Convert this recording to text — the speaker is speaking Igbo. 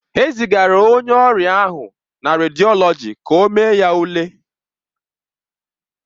E zigara onye ọrịa ahụ na rediọlọji ka ọ mee ya ule.